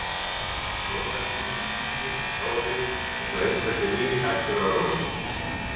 Róla snýst í hringi um sjálfa sig einsog einhver sé nýhættur að róla sér.